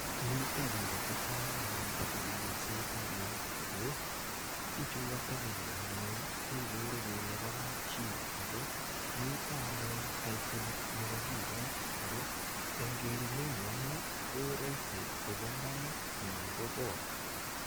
Mito biik che chang anyun che tebiensot eng ingweny ago biichu katelelio anyun kegere bo kapchi ago mito anyun taitolit nekokikochi ago eng kerunenyu anne ko raisi kobo imbaret anan ko kot.